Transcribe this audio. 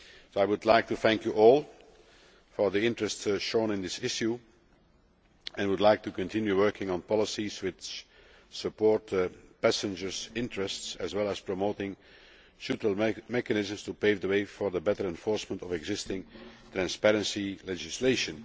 I would like to thank you all for the interest shown in this issue and would like to continue working on policies which support passengers' interests as well as promoting subtle mechanisms to pave the way for the better enforcement of existing transparency legislation.